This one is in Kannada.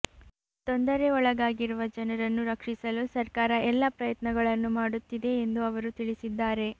ತೊಂದರೆ ಒಳಗಾಗಿರುವ ಜನರನ್ನು ರಕ್ಷಿಸಲು ಸರ್ಕಾರ ಎಲ್ಲಾ ಪ್ರಯತ್ನಗಳನ್ನು ಮಾಡುತ್ತಿದೆ ಎಂದು ಅವರು ತಿಳಿಸಿದ್ದಾರೆ